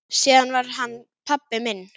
Síðar varð hann pabbi minn.